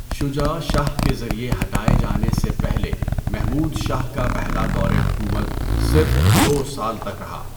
شجاع شاہ کے ذریعے ہٹائے جانے سے پہلے محمود شاہ کا پہلا دور حکومت صرف دو سال تک رہا۔